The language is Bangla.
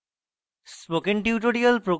spoken tutorial প্রকল্প the